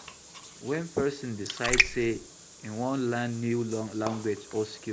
When person decide sey im wan learn new language or skill